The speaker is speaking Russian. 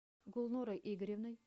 гулнорой игоревной